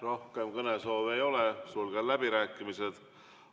Rohkem kõnesoove ei ole, sulgen läbirääkimised.